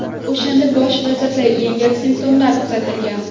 O‘shanda bosh vazirda yengil simptomlar kuzatilgan.